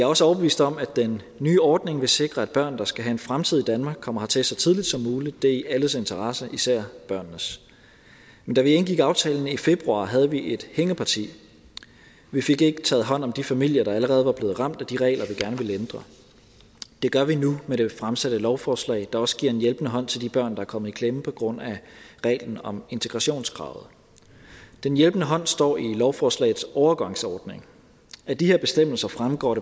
også overbevist om at den nye ordning vil sikre at børn der skal have en fremtid i danmark kommer hertil så tidligt som muligt det er i alles interesse især børnenes men da vi indgik aftalen i februar havde vi et hængeparti vi fik ikke taget hånd om de familier der allerede var blevet ramt af de regler vi gerne ville ændre det gør vi nu med det fremsatte lovforslag der også giver en hjælpende hånd til de børn der er kommet i klemme på grund af reglen om integrationskravet den hjælpende hånd står i lovforslagets overgangsordning af de her bestemmelser fremgår